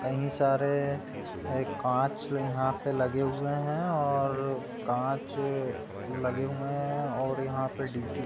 कई सारे कांच यहाँ पर लगे हुए हैं और कांच लगे हुए हैं और यहाँ पर --